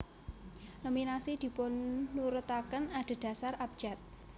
Nominasi dipunurutaken adedasar abjad